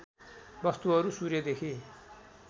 वस्तुहरू सूर्यदेखि